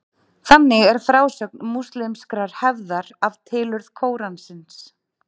Þannig er frásögn múslímskrar hefðar af tilurð Kóransins.